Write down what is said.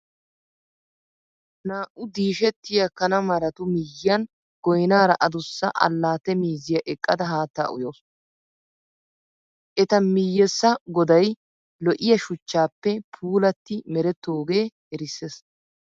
Naa"u diishettiya kana maratu miyyiyan goynaara adussa allaatte miizziya eqqada haattaa uyawusu. Eta miyyessa goday lo'iya shuchchaappe puulaatti merettoogee erissees.